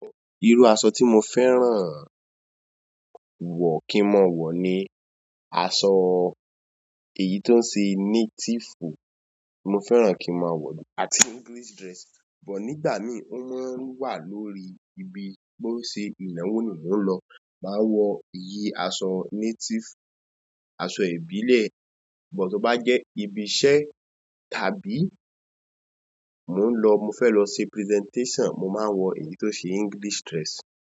Irú aṣọ tí mo fẹ́ràn. Wọ̀ kí máa wọ̀ ni aṣọ èyí tó ń ṣe native. Mo fẹ́ràn kí n máa wọ̀ọ́, àti English dress. But nígbà míì ó máa ń wà lórí ibi. Bó ń ṣe ìnáwó ni mò ń lọ, màá wọ èyí aṣọ native, aṣọ ìbílẹ̀. But tó bá jẹ́ ibi iṣẹ́ tàbí mò ń lọ-- mo fẹ́ lọ ṣe presentation, mo máa ń wọ èyí tó ṣe English dress.